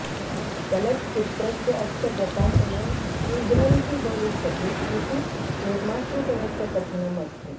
चलच्चित्रस्य अस्य प्रकाशनं शीघ्रं हि भविष्यति इति निर्मातृगणस्य कथनम् अस्ति